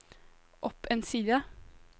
opp en side